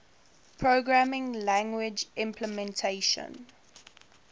programming language implementation